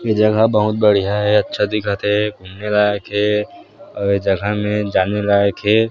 ये जगह बहुत बढ़िया हे अच्छा दिखत हे घूमें लायक हे आऊ ये जगह में जाने लायक हे।